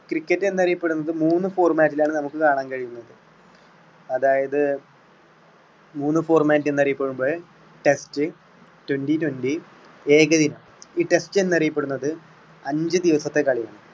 cricket എന്ന് അറിയപ്പെടുന്നത് മൂന്ന് format ലാണ് നമുക്ക് കാണാൻ കഴിയുന്നത് അതായത് മൂന്ന് format എന്ന് അറിയപ്പെടുമ്പോൾ test, twenty twenty ഏകദിനം ഈ test എന്ന് അറിയപ്പെടുന്നത് അഞ്ച് ദിവസത്തെ കളിയാണ്.